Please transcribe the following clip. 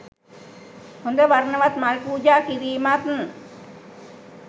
හොඳ වර්ණවත් මල් පූජා කිරීමත්